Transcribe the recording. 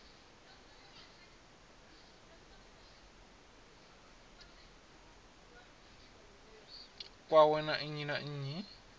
kwawe na nnyi na nnyi